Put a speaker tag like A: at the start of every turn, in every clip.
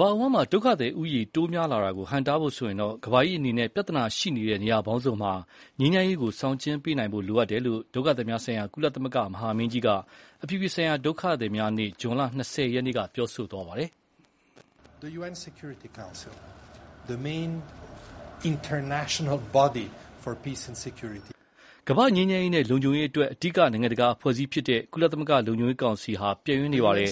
A: ဘာအဝှမ်းဒုက္ခသည်ဦးရေ တိုးများလာတာကို ဟန့်တားဖို့ဆိုရင် ကမ္ဘာကြီးအနေနဲ့ ပြဿနာရှိနေတဲ့ နေရာပေါင်းစုံမှာ ငြိမ်းချမ်းရေးဆောင်ကြဥ်းပေးနိုင်ဖို့ လိုအပ်တယ်လို့ ဒုက္ခသည်များဆိုင်ရာ ကုလသမဂ္ဂ မဟာမင်းကြီးက အပြည်ပြည်ဆိုင်ရာဒုက္ခသည်များနေ့ ဇွန် ၂၀ ရက်နေ့မှာ ပြောဆိုလိုက်ပါတယ်။ “ကမ္ဘာ့ငြိမ်းချမ်းရေးနဲ့လုံခြုံရေးအတွက် အဓိကနိုင်ငံတကာအဖွဲ့အစည်းဖြစ်တဲ့ ကုလသမဂ္ဂ လုံခြုံရေးကောင်စီ ဟာ ပျက်ယွင်းနေပါတယ်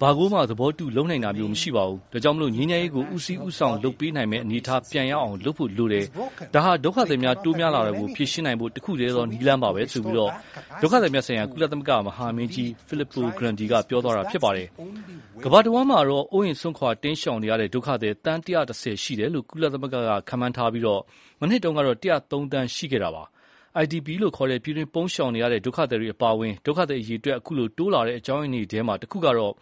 A: ။ ဘာကိုမှသဘောတူ လုပ်နိုင်တာမျိုးမရှိပါဘူး။ ဒါကြောင့် ငြိမ်းချမ်းရေးကို ဦးစီးဦးဆောင်လုပ်ပေးနိုင်မယ့် အနေအထားပြန်ရအောင် လုပ်ဖို့လိုပါတယ်။ ဒါဟာ ဒုက္ခသည်များ တိုးများလာတာကို ဖြေရှင်းနိုင်ဖို့ တခုတည်းသော နည်းလမ်းပါပဲ။” ကမ္ဘာတဝှမ်းမှာတော့ အိုးအိမ်စွန့်ခွာတိမ်းရှောင်ရတဲ့ ဒုက္ခသည် သန်း ၁၁၀ ရှိတယ်လို့ ကုလသမဂ္ဂက ခန့်မှန်း ထားပြီး၊ မနှစ်တုန်းကတော့ ၁၀၃ သန်းရှိခဲ့တာပါ။ IDP လို့ခေါ်တဲ့ ပြည်တွင်းပုန်းရှောင်နေရတဲ့ ဒုက္ခသည်တွေ အပါအဝင် ဒုက္ခသည်အရည်အတွက် အခုလို တိုးလာတဲ့အကြောင်းရင်းတွေထဲ တခုကတော့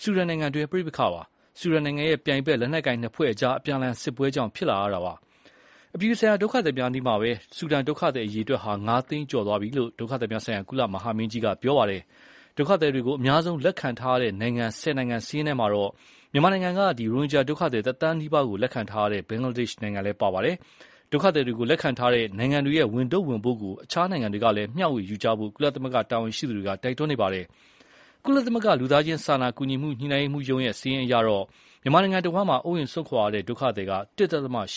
A: ဆူဒန်နိုင်ငံတွင်း ပဋိပက္ခကြောင့်ပါ။ ဆူဒန်ရဲ့ ပြိုင်ဖက် လက်နက်ကိုင်နှစ်ဖွဲ့အကြား အပြန်အလှန်စစ်ပွဲတွေကြောင့် ဖြစ်လာတပါ။ အပြည်ပြည်ဆိုင်ရာဒုက္ခသည်များနေ့မှာပဲ ဆူဒန်ဒုက္ခသည်အရည်အတွက်ဟာ ငါးသိန်းကျော်သွားပြီလို့ ဒုက္ခသည်များဆိုင်ရာ ကုလသမဂ္ဂမဟာမင်းကြီး Filippo Grandi က ပြောပါတယ်။ ဒုက္ခသည်တွေကိုအများဆုံးလက်ခံထားရတဲ့နိုင်ငံ ၁၀နိုင်ငံစာရင်းမှာတော့၊ မြန်မာပြည်က ရိုဟင်ဂျာဒုက္ခသည် တသန်းနီးပါးလက်ခံထားတဲ့ ဘင်္ဂလားဒေ့ရ်ှနိုင်ငံလည်းပါဝင်ပါတယ်။ ဒုက္ခသည်တွေကို လက်ခံထားတဲ့ နိုင်ငံတွေရဲ့ ဝန်ထုပ်ဝန်ပိုးကို အခြားနိုင်ငံတွေကလည်း မျှဝေယူကြဖို့ ကုလတာဝန်ရှိသူတွေ တိုက်တွန်း နေပါတယ်။ ကုလသမဂ္ဂ လူသားချင်းစာနာကူညီမှုညှိုနှိုင်းရေးရုံးရဲ့ စာရင်းအရတော့ မြန်မာနိုင်ငံတဝှမ်း အိုးအိမ်စွန့်ခွာရတဲ့ ဒုက္ခသည် ၁.၈ သန်း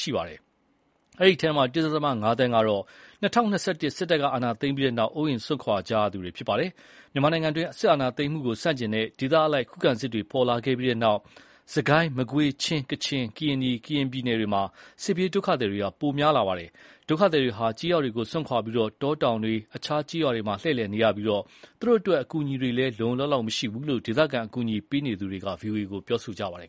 A: ရှိပါတယ်။ အဲဒီအထဲ ၁.၅ သန်းကတော့ ၂၀၂၁ စစ်တပ်ကအာဏာသိမ်းပြီးနောက် အိုးအိမ်စွန့်ခွာရသူတွေဖြစ်ကြပါတယ်။ မြန်မာနိုင်ငံတွင်း စစ်အာဏာသိမ်းမှုကိုဆန့်ကျင်တဲ့ဒေသအလိုက် ခုခံစစ်တွေပေါ်လာခဲ့တဲ့နောက်၊ စစ်ကိုင်း မကွေး၊ ချင်း၊ ကချင် ၊ကရင်နီ၊ ကရင်ပြည်နယ်တွေမှာ စစ်ပြေးဒုက္ခသည်တွေ တိုးများလာပါတယ်။ ဒုက္ခသည်တွေဟာ ကျေးရွာတွေကိုစွန့်ခွာပြီး တောတောင်တွေ အခြားကျေးရွာတွေမှာ လှည့်လည်နေရပြီး၊ သူတို့အတွက် အကူအညီတွေလည်း လုံလုံလောက်လောက်မရှိဘူလို့ ဒေသခံအကူအညီပေးနေသူတွေက ဗွီအိုအေကို ပြောခဲ့ကြပါတယ်။